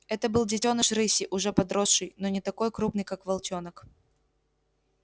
это был детёныш рыси уже подросший но не такой крупный как волчонок